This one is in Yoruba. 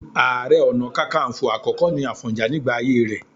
Ààrẹ Ọ̀nà Kakaǹfò àkọ́kọ́ ni Àfọ̀njá nígbà ayé rẹ̀